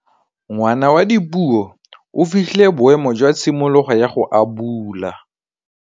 Ngwana wa Dipuo o fitlhile boêmô jwa tshimologô ya go abula.